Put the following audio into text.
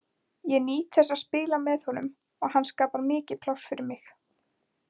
Ég nýt þess að spila með honum og hann skapar mikið pláss fyrir mig.